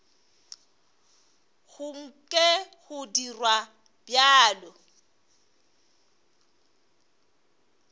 go nke go dirwa bjalo